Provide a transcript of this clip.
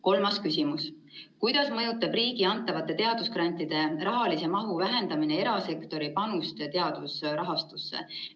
Kolmas küsimus: "Kuidas mõjutab riigi antavate teadusgrantide rahalise mahu vähenemine erasektori panust teadusrahastusse?